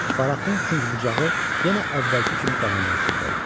Barakin künc-bucağı yenə əvvəlki kimi qaranlıq içində idi.